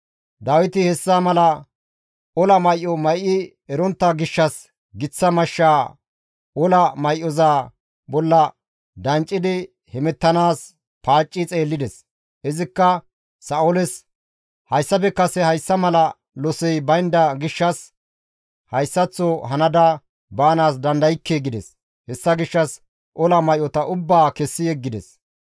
Dawiti hessa mala ola may7o may7i erontta gishshas giththa mashshaa ola may7oza bolla danccidi hemettanaas paacci xeellides. Izikka Sa7ooles, «Hayssafe kase hayssa mala losey baynda gishshas hayssaththo hanada baanaas dandaykke» gides; hessa gishshas ola may7ota ubbaa kessi yeggides.